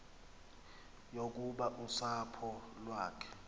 yokuba usapho lwakhe